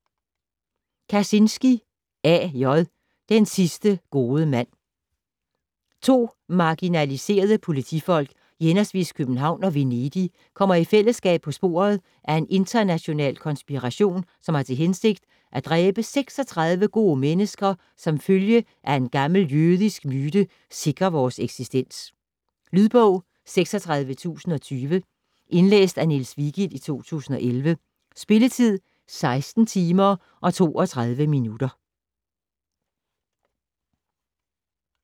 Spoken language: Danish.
Kazinski, A. J.: Den sidste gode mand To marginaliserede politifolk i hhv. København og Venedig kommer i fællesskab på sporet af en international konspiration, som har til hensigt at dræbe 36 gode mennesker, som ifølge en gammel jødisk myte sikrer vores eksistens. Lydbog 36020 Indlæst af Niels Vigild, 2011. Spilletid: 16 timer, 32 minutter.